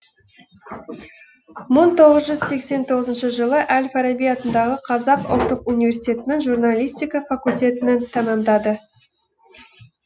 жылы әл фараби атындағы қазақ ұлттық университетінің журналистика факультетін тәмамдады